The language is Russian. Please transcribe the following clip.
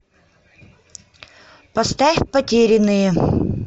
поставь потерянные